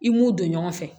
I m'u don ɲɔgɔn fɛ